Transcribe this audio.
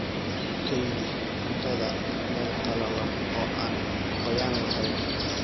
Ku kaydi cuntada meel qalalan oo aan qoyaan lahayn.